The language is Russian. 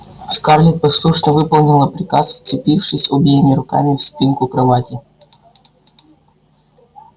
скарлетт послушно выполнила приказ вцепившись обеими руками в спинку кровати